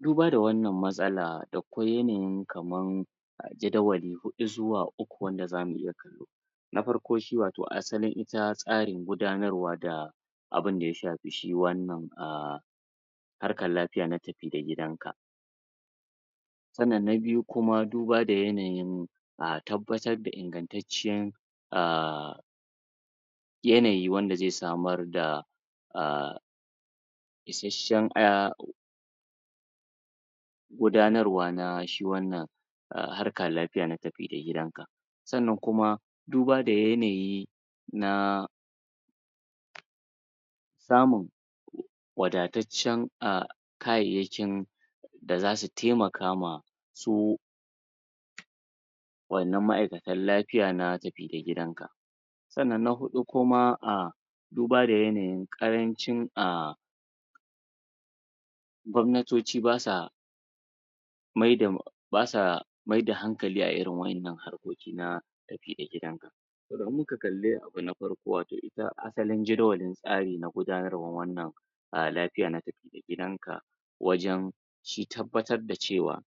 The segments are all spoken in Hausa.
duba da wannan matsalar, da akwai yanayi kaman jadawali huɗu zuwa uku wanda zamu iya kallo na farko shi watau asali ita tasrin gudanarwa da abun da ya shafi shi wannan ahh harkar lafiya na tafi da gidanka sannan na biyu kuma duba da yanayin ahh tabatar da ingantacen ahhh yanayi wanda ze samar da ahh isheshen gudanarwa na shi wannan harkar lafiya na tafi da gidanka sannan kuma duba da yanayi na samun wadatacen ahh kayyeyakin da zasu taimaka ma su wayannan ma'aikatan lafiya na tafi da gidan ka sannan na huɗu kuma ahh duba da yanayin ƙarancin ahh gwamnatoci ba suwa maida basa maida hankalin a irin wayannan harkoki na tafi da gidanka saboda idan muka kali abu na farko watau ita asalin jidawali tsari na gudanarwa wannan a lafiya na tafi da gidanka wajan shi tabbatar da cewa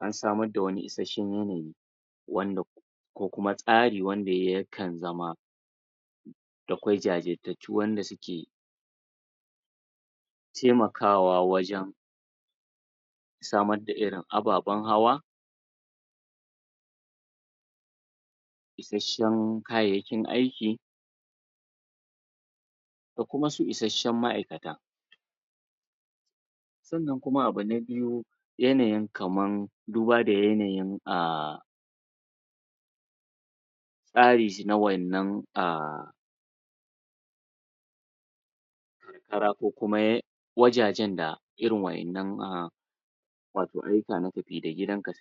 an samar da wani isheshen yanayi wanda ko kuma tsari wana yakan zama da akwai jajirtatu wanda suke taimakawa wajan samar da irin ababan hawa isheshen kayayyakin aiki ko kuma su isheshen ma'aikata sannan kuma abu na biyu yanayi kaman duba da yanayi a tsari shi na wayannan ahh kara ko kuma wajajan da irin wayannan ahh watau anyi tunani tafi da gidanka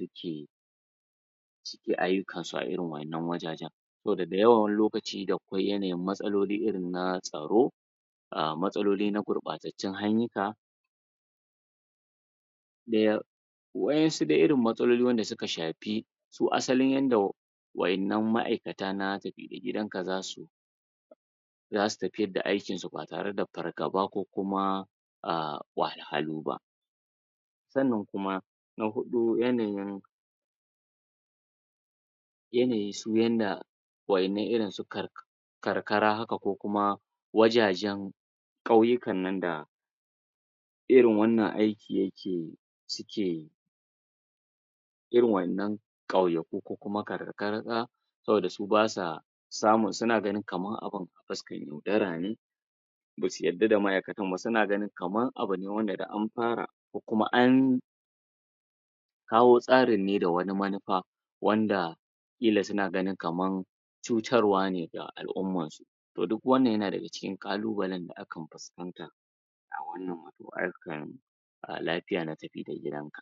suke ayyukansu a irin wayannan wajajen saboda dayan wani lokaci da akwai yanayi matsaloli irin na tsaro a matsoli na gurɓatacun ayuka daya wayansu dai irin matsaloli wanda suka shafi su asali yanda wayannan ma'aikata na tafi da gidanka zasu zasu tafiyar da aikinsu ba tare da fargaba ko kuma ahh wahalhalu ba sannan kuma na huɗu yanayin yanayi su yanda wayanan irin su karkara haka ko kuma wajajjen ƙauyukan nan da irin wannan aikin yake su ke irin wayannan ƙauyakun ko kuma karkakarka saboda su basa samu, suna ganin kaman abun a fiskar yaudarane basu yarda da ma'aikan ba, suna gani kaman abune wanda da an fara ko kuma an kawo tsarin ne da wani manufa wanda kila suna ganin kaman cutarwa ne da al'umman su to duk wannan yana daga cikin kalubale da akan fuskanta wannan harkar a lafiya na tafi da gidanka